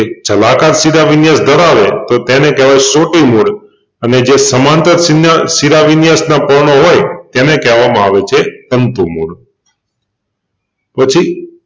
જલાકાર શિરાવિન્યાસ ધરાવે તો તેને કહેવાય સોટી મૂળ અને જે સમાંતર શિનાં શિરાવિન્યાસનાં પર્ણો હોય એને કેહવામાં આવે છે તંતુ મૂળ પછી એક